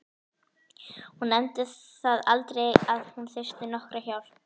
Hún nefndi það aldrei að hún þyrfti nokkra hjálp.